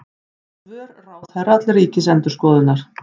Svör ráðherra til Ríkisendurskoðunar